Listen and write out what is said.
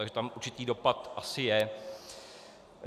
Takže tam určitý dopad asi je.